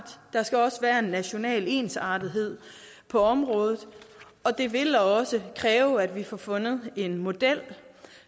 der skal også være national ensartethed på området det vil også kræve at vi får fundet en model